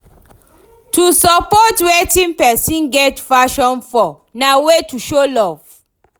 To support wetin persin get passion for na way to show love